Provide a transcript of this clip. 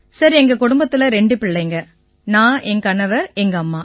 sir எங்க குடும்பத்தில ரெண்டு பிள்ளைங்க நான் என் கணவர் எங்கம்மா